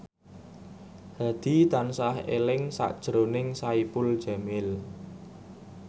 Hadi tansah eling sakjroning Saipul Jamil